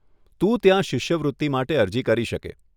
તું ત્યાં શિષ્યવૃત્તિ માટે અરજી કરી શકે.